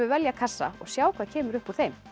velja kassa og sjá hvað kemur upp úr þeim